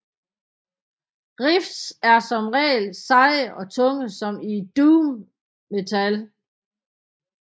Riffs er som regel seje og tunge som i doom metal